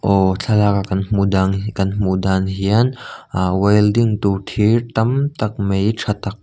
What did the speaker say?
aw thlalak a kan hmuh dang kan hmuh dan hian ahh welding tur tur thir tam tak mai tha tak--